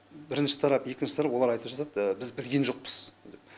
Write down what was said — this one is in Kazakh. бірінші тарап екінші тарап олар айтып жатады біз білген жоқпыз деп